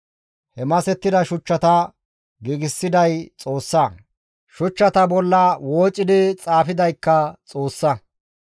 He masettida shuchchata giigsiday Xoossa; shuchchata bolla woocidi xaafidaykka Xoossa.